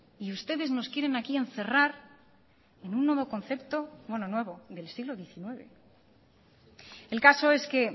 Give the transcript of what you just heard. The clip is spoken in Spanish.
y ustedes nos quieren aquí encerrar en un nuevo concepto bueno nuevo del siglo diecinueve el caso es que